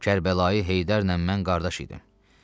Kərbəlayı Heydərlə mən qardaş idim.